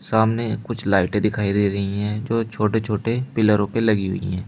सामने कुछ लाइटें दिखाई दे रही हैं जो छोटे छोटे पिलरों पे लगी हुई हैं।